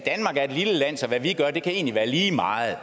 er et lille land så det kan egentlig være lige meget